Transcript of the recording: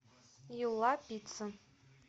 юла пицца